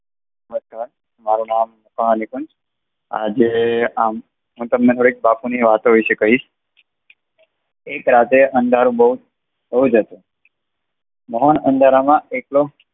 નમષ્કાર મારુ નામ પ્રણાલિકન. આજે આમ હું તમને થોડી બાપુ ની વાતની વાતો વિશે કહીશ. એક રાતે અંધારું બોવ જ હતું મહાન અંદરમાં એક